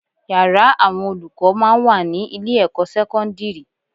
Yàrá àwọn olùkọ́ máa ń wà ní ilé-ẹ̀kọ́ sẹ́kọ́ndírì